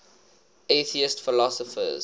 atheist philosophers